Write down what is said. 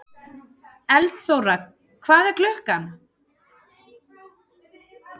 Eldþóra, hvað er klukkan?